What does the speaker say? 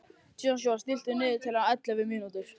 Joshua, stilltu niðurteljara á ellefu mínútur.